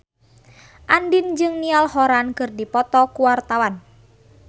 Andien jeung Niall Horran keur dipoto ku wartawan